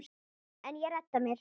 En ég redda mér.